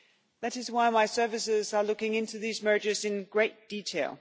That is why my services are looking into these mergers in great detail.